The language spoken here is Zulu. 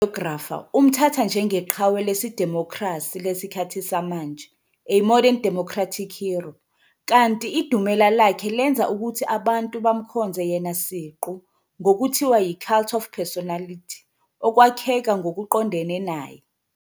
Ugrafa, umthatha njengeqhawe lesidimokhrasi lesikhathi samanje, "a modern democratic hero", kanti idumela lakkhe lenza ukuthi abantu bamkhonze yena siqu ngokuthiwa yi-cult of personality okwakheka ngokuqondene naye.